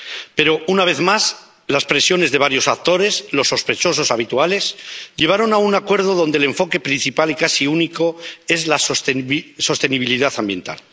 Pero, una vez más, las presiones de varios actores, los sospechosos habituales, llevaron a un acuerdo donde el enfoque principal y casi único es la sostenibilidad ambiental.